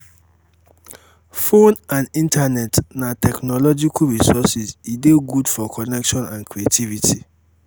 phone and internet na techmological resources e de good for connection and creativitry